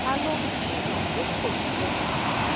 ta ló ń jiyàn pé kò rí bẹẹ